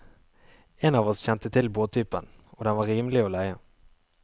En av oss kjente til båttypen, og den var rimelig å leie.